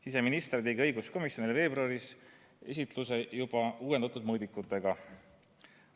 Siseminister tegi õiguskomisjonile veebruaris esitluse juba uuendatud mõõdikutega.